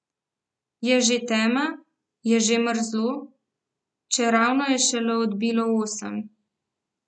Je že tema, je že mrzlo, čeravno je šele odbilo osem.